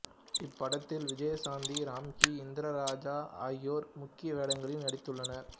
இப்படத்தில் விஜயசாந்தி ராம்கி இந்திரஜா ஆகியோர் முக்கிய வேடங்களில் நடித்துள்ளனர்